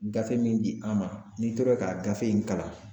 Gafe min di an ma n'i tora k'a gafe in kalan